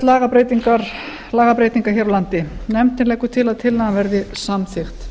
lagabreytinga hér á landi nefndin leggur til að tillagan verði samþykkt